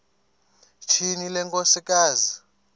tyhini le nkosikazi